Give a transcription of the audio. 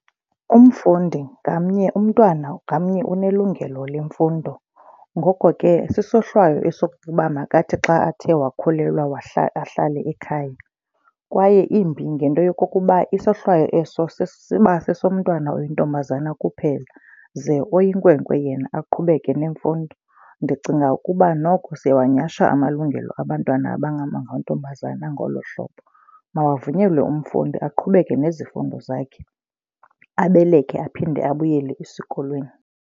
Umfundi ngamnye umntwana ngamnye unelungelo lemfundo. Ngoko ke isohlwayo esokuba makathi xa athe wakhulelwa ahlale ekhaya. Kwaye imbi ngento yokokuba isohlwayo eso siba sesomntwana oyintombazana kuphela ze oyinkwenkwe yena aqhubeke nemfundo. Ndicinga ukuba noko siyawanyasha amalungelo abantwana abangamantombazana ngolo hlobo. Makavunyelwe umfundi aqhubeke nezifundo zakhe abeleke aphinde abuyele esikolweni.